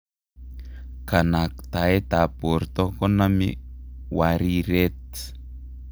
kanaktaetab borto konami wariret